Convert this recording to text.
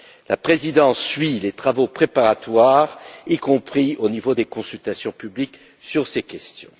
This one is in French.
La Présidence suit les travaux préparatoires, y compris au niveau des consultations publiques sur ces questions.